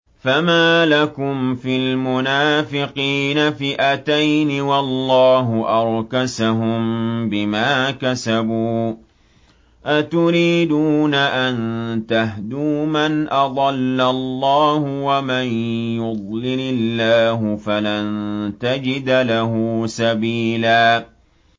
۞ فَمَا لَكُمْ فِي الْمُنَافِقِينَ فِئَتَيْنِ وَاللَّهُ أَرْكَسَهُم بِمَا كَسَبُوا ۚ أَتُرِيدُونَ أَن تَهْدُوا مَنْ أَضَلَّ اللَّهُ ۖ وَمَن يُضْلِلِ اللَّهُ فَلَن تَجِدَ لَهُ سَبِيلًا